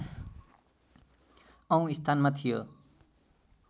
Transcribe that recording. औँ स्थानमा थियो